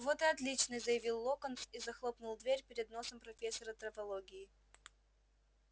вот и отлично заявил локонс и захлопнул дверь перед носом профессора травологии